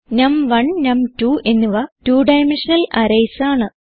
നം1 നം2 എന്നിവ 2 dimensional arrays ആണ്